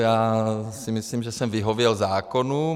Já si myslím, že jsem vyhověl zákonům.